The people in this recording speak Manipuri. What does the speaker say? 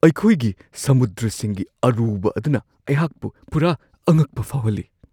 ꯑꯩꯈꯣꯏꯒꯤ ꯁꯃꯨꯗ꯭ꯔꯁꯤꯡꯒꯤ ꯑꯔꯨꯕ ꯑꯗꯨꯅ ꯑꯩꯍꯥꯛꯄꯨ ꯄꯨꯔꯥ ꯑꯉꯛꯄ ꯐꯥꯎꯍꯜꯂꯤ ꯫